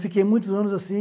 Fiquei muitos anos assim.